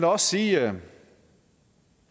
også sige